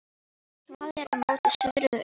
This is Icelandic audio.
Svalir eru móti suðri og austri.